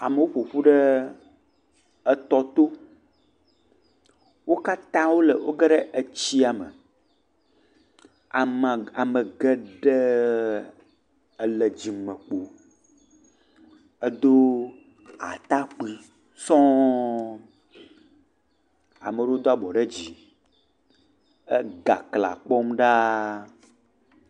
Amewo ƒoƒu ɖe etɔ to. Wo katã wò geɖe etsia me. Ame ame geɖe ele dzimekpo Edo atakpui sɔ̃. Ame aɖewo do abɔ ɖe dzi he gagla kpɔm ɖa.